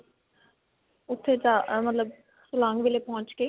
ਉੱਥੇ ਜਾ ਮਤਲਬ silang ਪਹੁੰਚ ਕੇ.